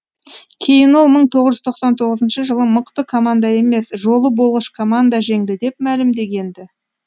кейін ол мың тоғыз жүз тоқсан тоғызыншы жылы мықты команда емес жолы болғыш команда жеңді деп мәлімдеген ді